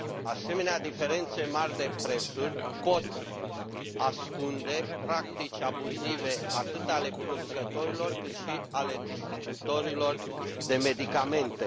Asemenea diferențe mari de prețuri pot ascunde practici abuzive atât ale producătorilor, cât și ale distribuitorilor de medicamente.